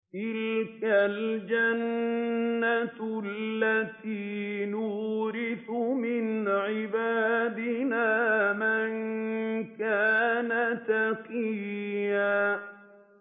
تِلْكَ الْجَنَّةُ الَّتِي نُورِثُ مِنْ عِبَادِنَا مَن كَانَ تَقِيًّا